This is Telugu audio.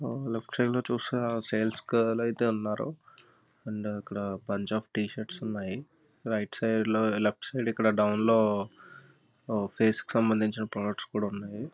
ఆ లెఫ్ట్ సైడ్ చుస్తే సేల్స్ గర్ల్ అయితే ఉన్నారు. అండ్ ఇక్కడ పంజాబీ టీ షర్ట్స్ అయితే ఉన్నాయి.రైట్ సైడ్ లో లెఫ్ట్ సైడ్ డౌన్ లో పేస్ కి సంబందించిన ప్రొడక్ట్స్ కూడా ఉన్నాయి.